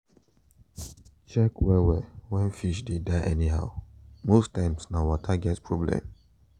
check well well when fish dey die anyhow most times na water get problem